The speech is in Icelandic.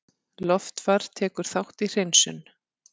Loftfar tekur þátt í hreinsun